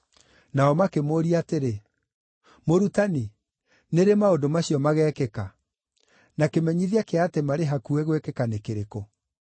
Nao makĩmũũria atĩrĩ, “Mũrutani, nĩ rĩ maũndũ macio magekĩka? Na kĩmenyithia kĩa atĩ marĩ hakuhĩ gwĩkĩka nĩ kĩrĩkũ?”